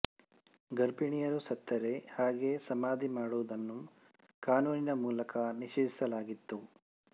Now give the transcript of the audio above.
ಗರ್ಭಿಣಿಯರು ಸತ್ತರೆ ಹಾಗೆಯೇ ಸಮಾಧಿ ಮಾಡುವುದನ್ನು ಕಾನೂನಿನ ಮೂಲಕ ನಿಷೇಧಿಸಲಾಗಿತ್ತು